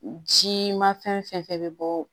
Ji ma fɛn fɛn bɛ bɔ